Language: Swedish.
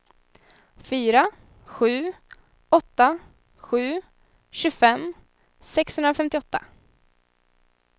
fyra sju åtta sju tjugofem sexhundrafemtioåtta